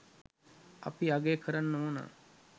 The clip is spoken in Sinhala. අපි අගය කරන්න ඕනා.